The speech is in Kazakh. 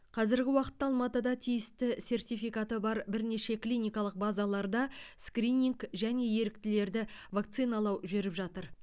қазіргі уақытта алматыда тиісті сертификаты бар бірнеше клиникалық базаларда скрининг және еріктілерді вакциналау жүріп жатыр